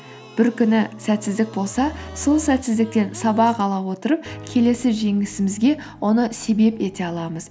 бір күні сәтсіздік болса сол сәтсіздіктен сабақ ала отырып келесі жеңісімізге оны себеп ете аламыз